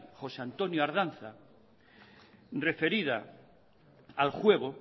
josé antonio ardanza referida al juego